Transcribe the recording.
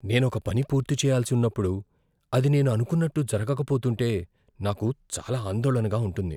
నేను ఒక పని పూర్తిచేయాల్సి ఉన్నప్పుడు, అది నేను అనుకున్నట్టు జరగకపోతుంటే నాకు చాలా ఆందోళనగా ఉంటుంది.